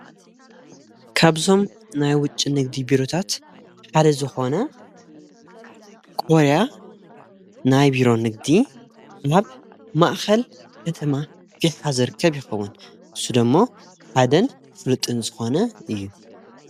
ካብዞም ናይ ውጭ ንግዲ ቢሩታት ሓደ ዝኾነ ቆርያ ናይ ብሮ ንግዲ ላብ ማእኸል ከተማ ቤትኃዘር ከብ ኸውን ሱደሞ ሓደን ፍሉጥን ዝኾነ እዩ።